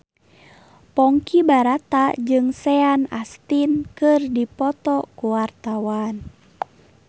Ponky Brata jeung Sean Astin keur dipoto ku wartawan